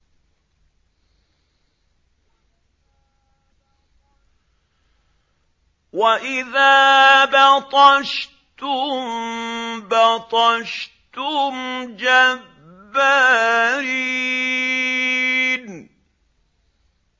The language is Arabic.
وَإِذَا بَطَشْتُم بَطَشْتُمْ جَبَّارِينَ